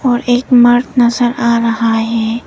और एक मार्ग नजर आ रहा है।